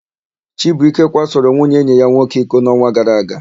Chibuike kwasoro nwunye enyi ya nwoke iko n'ọnwa gara aga.